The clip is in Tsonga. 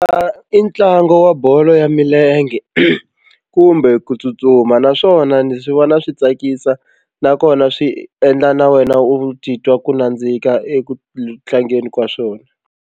intlangu wa bolo ya milenge kumbe ku tsutsuma naswona ndzi swi vona swi tsakisa nakona swi endla na wena u titwa ku nandzika eku tlangeni ka swona.